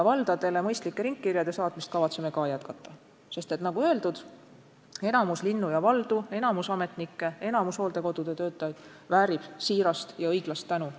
Valdadele mõistlike ringkirjade saatmist kavatseme ka jätkata, sest, nagu öeldud, enamik linnu ja valdu, enamik ametnikke, enamik hooldekodude töötajaid väärib õigusega siirast tänu.